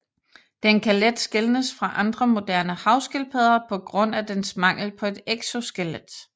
Den kan let skelnes fra andre moderne havskildpadder på grund af dens mangel på et exoskelet